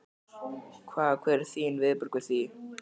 Hvað, hver eru þín viðbrögð við því?